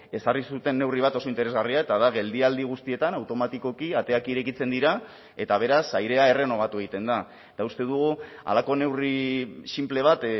ezarri zuten neurri bat oso interesgarria eta da geldialdi guztietan automatikoki ateak irekitzen dira eta beraz airea errenobatu egiten da eta uste dugu halako neurri sinple bat